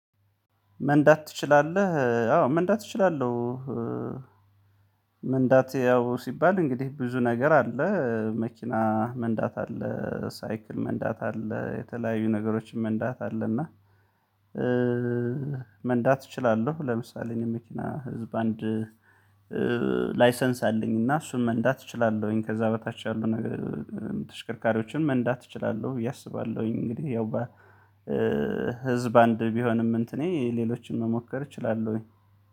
መንዳት ትችላለህ? አዎ መንዳት እችላለሁ። መንዳት ያው ሲባል እንግዲህ ብዙ ነገር አለ መኪና መንዳት አለ ሳይክል መንዳት አለ የተለያዩ ነገሮችን መንዳት አለና መንዳት እችላለሁ። ለምሳሌ እኔ መኪና ህዝብ አንድ ላይሰንስ አለኝ እና እሱን መንዳት እችላለሁኝ ከዚያ በታች ያሉ ነገር ተሽከርካሪዎችን መንዳት እችላለሁ አስባለሁኝ። እንግዲህ ያው ህዝብ አንድ ቢሆንም እንትኔ ሌሎችን መሞከር እችላለሁኝ